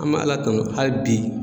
An me ala tanu hali bi.